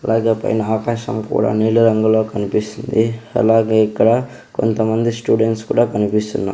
అలాగే పైన ఆకాశం కూడా నీలిరంగులో కన్పిస్తుంది అలాగే ఇక్కడ కొంతమంది స్టూడెంట్స్ కూడా కనిపిస్తున్న--